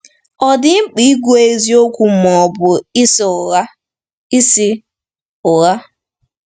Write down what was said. Ọ̀ dị mkpa ikwu eziokwu ma ọ bụ ịsị ụgha? ịsị ụgha?